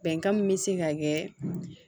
Bɛnkan min be se ka kɛ